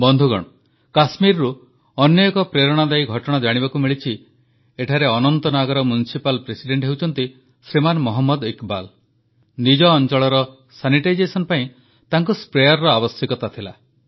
ବନ୍ଧୁଗଣ କଶ୍ମୀରରୁ ଅନ୍ୟ ଏକ ପ୍ରେରଣାଦାୟୀ ଘଟଣା ଜାଣିବାକୁ ମିଳିଛି ଏଠାରେ ଅନନ୍ତନାଗର ମ୍ୟୁନିସିପାଲ ପ୍ରେସିଡେଂଟ ହେଉଛନ୍ତି ଶ୍ରୀମାନ ମହମ୍ମଦ ଇକବାଲ ନିଜ ଅଂଚଳର ସାନିଟାଇଜେସନ୍ ପାଇଁ ତାଙ୍କୁ ସ୍ପ୍ରେୟାରର ଆବଶ୍ୟକତା ଥିଲା